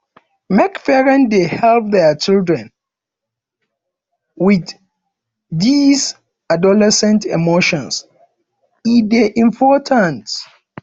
make parents dey help their children wit dese adolescent emotions e dey important